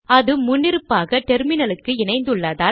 அது முன்னிருப்பாக டெர்மினலுக்கு இணைந்துள்ளதால்